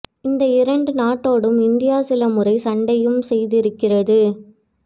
இந்த இரண்டு நாட்டோடும் இந்தியா சில முறை சண்டையும் செய்திருக்கிறது